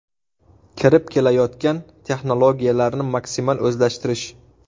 Kirib kelayotgan texnologiyalarni maksimal o‘zlashtirish.